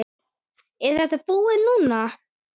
Er þetta búið núna?